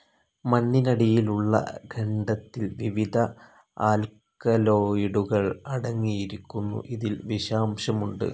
മണ്ണിനടിയിലുള്ള ഖണ്ഡത്തിൽ വിവിധ ആൽക്കലോയ്ഡുകൾ അടങ്ങിയിരിക്കുന്നു. ഇതിൽ വിഷാംശമുണ്ട്.